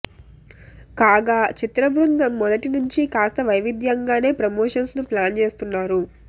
కాగా చిత్రబృందం మొదటినుంచీ కాస్త వైవిధ్యంగానే ప్రమోషన్స్ ను ప్లాన్ చేస్తున్నారు